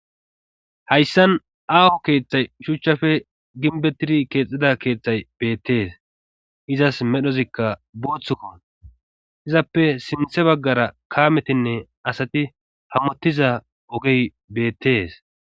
Hayssan aawo keeththay shuchchafe ginbetidi keexxida keeththay beettees izas medhozikka booththukko izappe sinthe baggara kaametinne asati hammottiza ogey beettes